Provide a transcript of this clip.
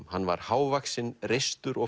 hann var hávaxinn reistur og